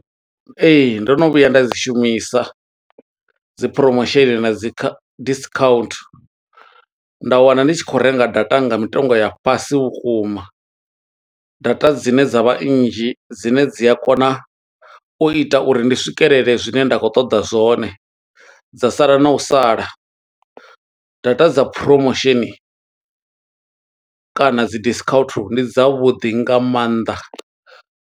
Ee, ndo no vhuya nda dzi shumisa dzi promotion na dzi kha, discount. Nda wana ndi tshi khou renga data nga mitengo ya fhasi vhukuma, data dzine dza vha nnzhi, dzine dzi a kona u ita uri ndi swikelele zwine nda khou ṱoḓa zwone, dza sala na u sala. Data dza promotion kana dzi discount, ndi dza vhuḓi nga maanḓa.